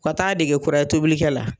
U Ka taa dege kuraye tobili la